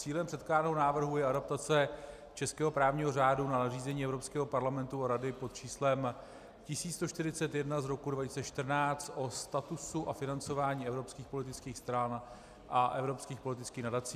Cílem předkládaného návrhu je adaptace českého právního řádu na nařízení Evropského parlamentu a Rady pod číslem 1141 z roku 2014 o statusu a financování evropských politických stran a evropských politických nadací.